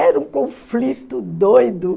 Era um conflito doido.